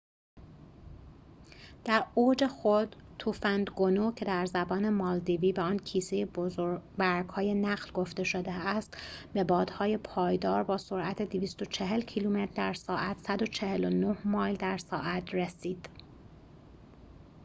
در اوج خود، توفند گونو، که در زبان مالدیوی به آن کیسه برگ‌های نخل گفته شده است، به بادهای پایدار با سرعت 240 کیلومتر در ساعت 149 مایل در ساعت رسید